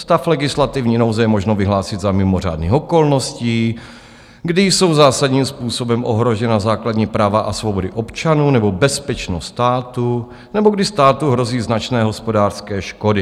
Stav legislativní nouze je možno vyhlásit za mimořádných okolností, kdy jsou zásadním způsobem ohrožena základní práva a svobody občanů nebo bezpečnost státu nebo kdy státu hrozí značné hospodářské škody.